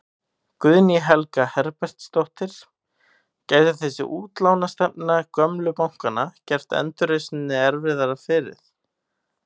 Guðný Helga Herbertsdóttir: Gæti þessi útlánastefna gömlu bankanna gert endurreisninni erfiðara fyrir?